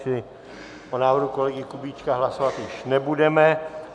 Čili o návrhu kolegy Kubíčka hlasovat již nebudeme.